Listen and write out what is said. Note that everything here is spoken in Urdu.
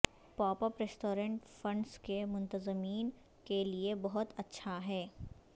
پاپ اپ ریستوران فنڈز کے منتظمین کے لئے بہت اچھا ہیں